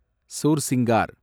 Sursingar